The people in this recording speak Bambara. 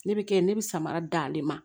Ne bɛ kɛ ne bɛ samara d'ale ma